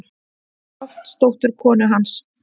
Loftsdóttur, konu hans.